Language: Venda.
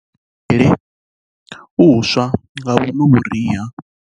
Kha vha thivhele u swa Nga vhuno vhuriha